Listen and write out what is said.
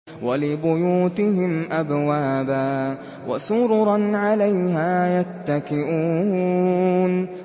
وَلِبُيُوتِهِمْ أَبْوَابًا وَسُرُرًا عَلَيْهَا يَتَّكِئُونَ